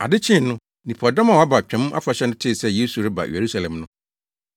Ade kyee no, nnipadɔm a wɔaba Twam Afahyɛ no tee sɛ Yesu reba Yerusalem no,